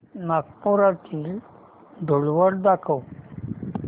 नागपुरातील धूलवड दाखव